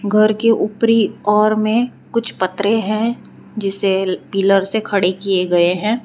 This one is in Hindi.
घर के ऊपरी ओर में कुछ पतरे हैं जिसे पिलर से खड़े किए गए हैं।